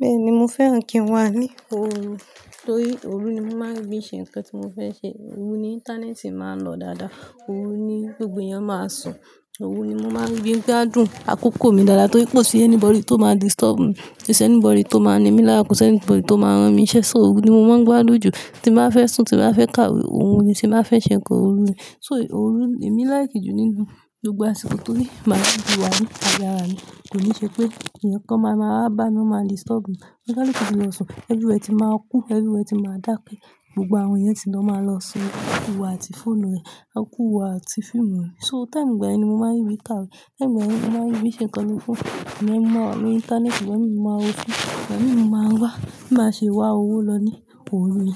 Bẹ́ẹ̀ni, mo fẹ́ràn kí n wà ní òru torí òru ni mo máa ń rí bí i ṣe ǹkan tí mo fẹ́ ṣe. Òru ni íńtánẹ́ẹ̀tì máa ń lọ dáadáa, òru ni gbogbo ẹ̀yàn máa sùn, òru ni mo máa ń rí gbígbá dùn àkókò mi dáadáa torí kò sí any bọ̀dy tó máa disturb mi, kò sí any body tó máa ní mí lára kò sí any bọ̀dy tó máa rán mi n ṣe, òru ni mo máa ń gbádùn jù tí n bá fẹ́ sùn tí n bá fẹ́ kàwé òru ni tí n bá fẹ́ ṣe ǹkan òru ni. So òru èmi like jù nínú gbogbo àsìkò torí màá n rí bí wà ní ayé atara mi, kò ní ṣe pé ẹ̀yàn kan máa ma wá bá mi, ó máa disturb mi. Olúkálukú ti máa lọ sùn, everywhere ti máa cool, everywhere ti máa dà ké gbogbo àwọn èèyàn tí lọ máa lọ sùn a kú iwò àti fóònù rẹ̀, a kú iwò àti fíìmù rẹ̀. So time gba yen ní mo máa ń rí bí i kàwé, time gba yen ní mo máa ń rí bí i ṣe ǹkan lórí fóònù, ìgbà yẹn ní mo máa wà lórí íńtánẹ́ẹ̀tì, ìgbà mi mo máa wò fíìmù, ìgbà mi mo máa ń wá, bí máa ṣe wà òwó lọ ní òru i.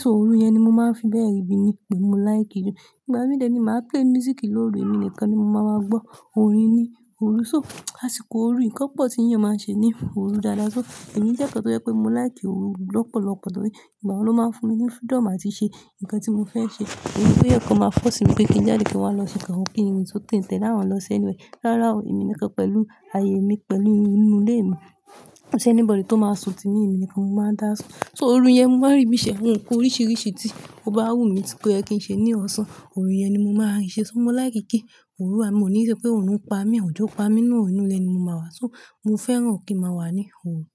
So òru yẹn ni mo máa ń fi bẹ́ẹ̀ ribi ni pe mó like jù. Ìgbà mì de ni màá play music ló ru èmi nìkan ni mo máa ma gbọ́ orin ní òru. So àsìkò òru, nǹkan pọ̀ tí èèyàn máa ṣe ní òru dáadáa. So èmi jẹ́ ọ̀kan tó jẹ́ pé mo like òru lọ́pọ̀lọ́pọ̀ torí ìgbà yẹn ló máa ń fún mi ní freedom àti ṣe ǹkan tí mo fẹ́ ṣe. Kò sí ẹ̀yàn kan máa force mi pé kí n jáde kí n wá lọ ṣe ǹkan, kí ń rìn ki n tẹ́lẹ̀ àwọn lọ sí anywhere. Rárá ò èmi nìkan pẹ̀lú ayé mi pẹ̀lú inú ilé mi, kò sí anybody tó máa sùn tí mí èmi nìkan mo máa ń dà sùn. So òru yẹn mo máa ń rí bíi ṣe ohun kan oríṣiríṣi tí ó bá wù mí tí kò yẹ kí n ṣe ní ọ̀sán, òru yẹn ni mo máa ń ṣe. Torí mo like kí òru à mí, mo ní ṣe pé òru ń pa mí, ọ̀jọ̀ pa mí nu orun inú ilé ni mo máa wà. So mo fẹ́ràn kí n máa wà ní òru.